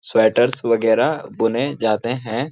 Sweaters वगैरह बुने जाते हैं।